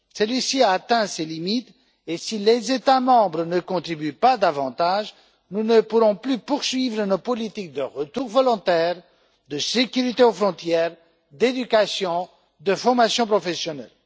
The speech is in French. Celui ci a atteint ses limites et, si les États membres ne contribuent pas davantage, nous ne pourrons plus poursuivre nos politiques de retour volontaire, de sécurité aux frontières, d'éducation, de formation professionnelle.